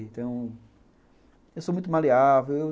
Então, eu sou muito maleável.